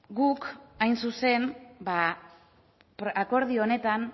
guk hain zuzen akordio honetan